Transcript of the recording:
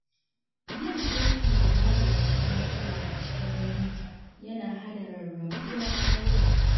Yin sulhu da magance matsala a cikin dangi yana hana rarrabuwar kawuna.